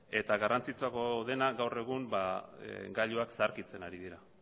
eta garrantzitsuagoa dena gaur egun gailuak zaharkitzen ari dira